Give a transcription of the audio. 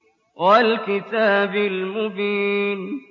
وَالْكِتَابِ الْمُبِينِ